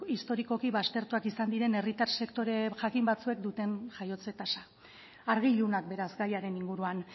historikoki baztertuak izan diren herritar sektore jakin batzuek duten jaiotze tasa argi ilunak beraz gaiaren inguruan